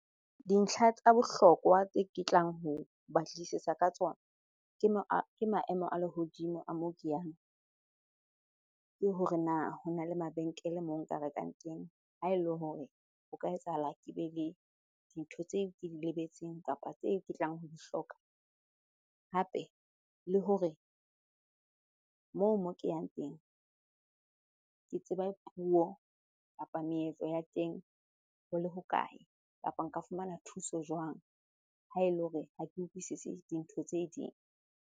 Dintlha tsa bohlokwa tse ke tlang ho batlisisa ka tsona, ke ke maemo a lehodimo a moo ke yang le hore na hona le mabenkele moo nka rekang teng ha ele hore ho ka etsahala ke be le dintho tseo ke di lebetseng kapa tse ke tlang ho di hloka. Hape le hore moo, moo ke yang teng ke tseba puo kapa meetlo ya teng ho le hokae. Kapa nka fumana thuso jwang ha ele hore ha ke utlwisise dintho tse ding.